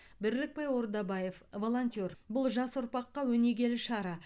бірлікбай ордабаев волонтер бұл жас ұрпаққа өнегелі шара